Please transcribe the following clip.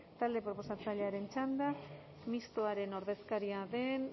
talde proposatzailearen txanda mistoaren ordezkaria den